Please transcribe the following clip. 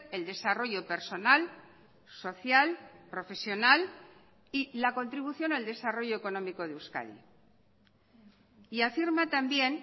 el desarrollo personal social profesional y la contribución al desarrollo económico de euskadi y afirma también